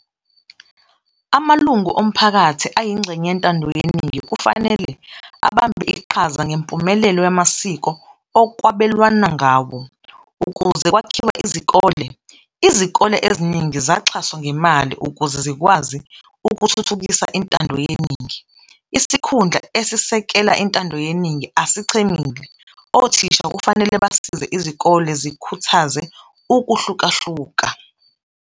Amalungu omphakathi ayingxenye yentando yeningi kufanelel abambe iqhaza ngempumelelo yamasiko okwabelwana ngawo. Ukuze kwakhiwe izikole, izikole eziningi zaxhaswa ngemali ukuze zikwazi ukuthuthukisa intando yeningi. Isikhundla esisekela intando yeningi asichemile, othisha kufanele basize izikole zikhuthaze ukuhlukahluka.